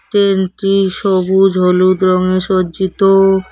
ট্রেনটি সবুজ হলুদ রঙে সজ্জিত।